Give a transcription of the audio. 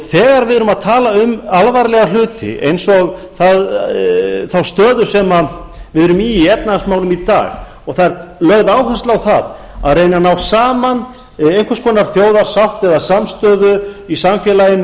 þegar við erum að tala um alvarlega hluti eins og þá stöðu sem við erum í í efnahagsmálum í dag og það er lögð áhersla á að reyna að ná saman einhvers konar þjóðarsátt eða samstöðu í samfélaginu